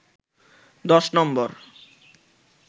১০ নম্বর